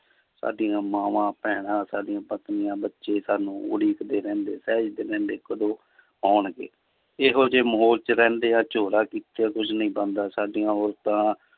ਸਾਡੀਆਂ ਮਾਵਾਂ, ਭੈਣਾਂ, ਸਾਡੀਆਂ ਪਤਨੀਆਂ ਬੱਚੇ ਸਾਨੂੰ ਉਡੀਕਦੇ ਰਹਿੰਦੇ ਰਹਿੰਦੇ ਕਦੋਂ ਆਉਣਗੇ, ਇਹੋ ਜਿਹੇ ਮਾਹੌਲ 'ਚ ਰਹਿੰਦਿਆਂ ਝੋਰਾ ਕੀਤਿਆਂ ਕੁਛ ਨੀ ਬਣਦਾ ਸਾਡੀਆਂ ਔਰਤਾਂ